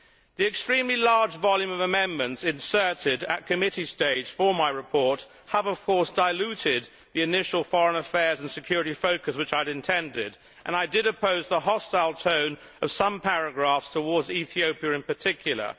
The extremely large volume of amendments inserted at committee stage for my report have, of course, diluted the initial foreign affairs and security focus which I had intended and I did oppose the hostile tone of some paragraphs towards Ethiopia in particular.